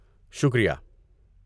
شکریہ!